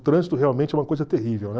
O trânsito realmente é uma coisa terrível, né?